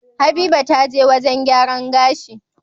Habiba taje wajan gyaran gashi